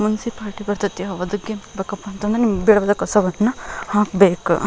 Municipality ಬರತೈತಿ ಹೋಗೋದಕ್ಕೆ ಬಕ್ಕ ನಿಮ್ ಬೆಳದ ಕಸವನ್ನು ಹಾಕ್ಬೇಕ್.